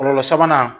Kɔlɔlɔ sabanan